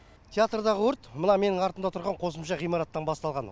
театрдағы өрт мына менің артымда тұрған қосымша ғимараттан басталған